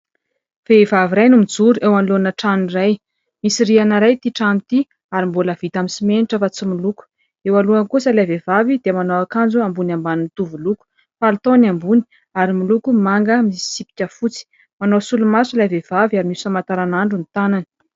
Vehivavy iray no mijoro eo anoloana trano iray, misy rihana iray ity trano ity ary mbola vita amin'ny simenitra fa tsy miloko, eo alohany kosa ilay vehivavy dia manao akanjo ambony ambany mitovy loko, palitao ny ambony ary miloko manga misy tsipika fotsy, manao solomaso ilay vehivavy ary misy famantaran'andro ny tanany.